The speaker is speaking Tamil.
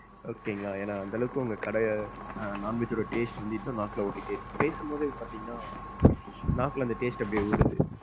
Okay ங்களா, ஏன்னா அந்த அளவுக்கு உங்க கடைய non veg ஓட taste வந்து இன்னோம் நாக்குள்ள ஒட்டிடே இருக்கு. பேசும்போதே பாத்தீங்கன்னா நாக்குல அந்த taste அப்படியே ஊறுது.